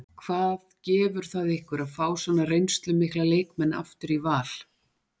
Hvað gefur það ykkur að fá svona reynslumikla leikmenn aftur í Val?